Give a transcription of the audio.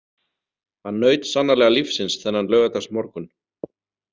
Hann naut sannarlega lífsins þennan laugardagsmorgun.